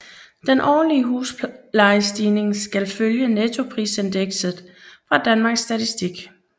Den årlige huslejestigning skal følge nettoprisindekset fra Danmarks Statistik